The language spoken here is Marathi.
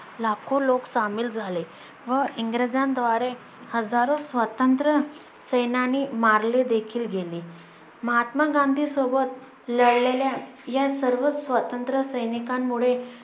लाखो लोक सामील झाले व इंग्रजांद्वारे हजारो स्वातंत्र्य सैनानी मारले देखील गेले. महात्मा गांधी सोबत लढलेल्या या सर्व स्वातंत्र्य सैनिकांमुळे